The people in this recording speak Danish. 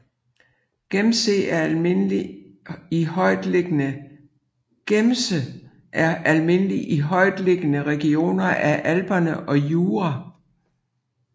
Gemse er almindelig i højtliggende regioner af Alperne og Jura